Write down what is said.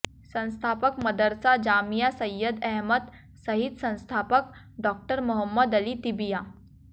संस्थापक मदरसा जामिया सैयद अहमद सहित संस्थापक डॉ मोहम्मद अली तिबिया